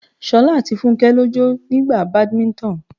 Ṣolá àti Fúnké lọ jọ ń gba Badminton.